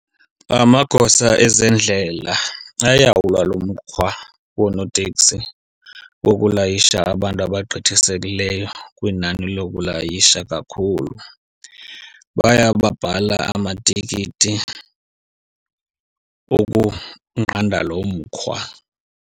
Amagosa ezendlela ayawulwa lo mkhwa wonooteksi wokulayisha abantu abagqithisekileyo kwinani lokulayisha kakhulu. Bayababhala amatikiti okunqanda lo mkhwa.